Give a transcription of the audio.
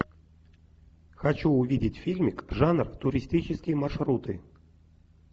хочу увидеть фильмик жанр туристические маршруты